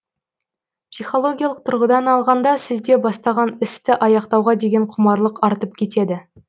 психологиялық тұрғыдан алғанда сізде бастаған істі аяқтауға деген құмарлық артып кетеді